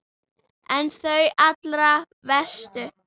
En þau allra verstu?